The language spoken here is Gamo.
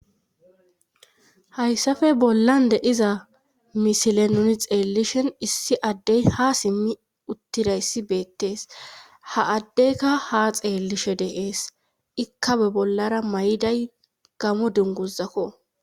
Hayssafe bollan dediza misile nuni xeellishen issi addey ha simmi uttira yssi beettees ha addeyka ha xeellishe deees ikkabe bollara may'iday gamo dinguzakko